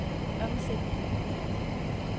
omsætningen